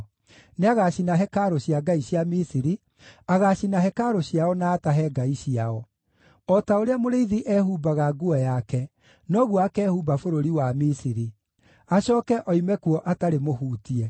Nĩagacina hekarũ cia ngai cia Misiri; agaacina hekarũ ciao na atahe ngai ciao. O ta ũrĩa mũrĩithi ehumbaga nguo yake, noguo akehumba bũrũri wa Misiri, acooke oime kuo atarĩ mũhutie.